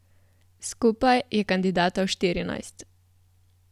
Skupaj je kandidatov štirinajst.